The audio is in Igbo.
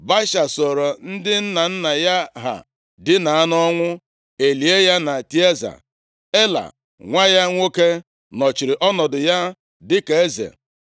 Baasha sooro ndị nna nna ya ha dina nʼọnwụ, e lie ya na Tịaza. Ela, nwa ya nwoke, nọchiri ọnọdụ ya dịka eze.